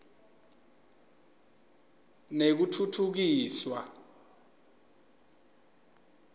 nekutfutfukiswa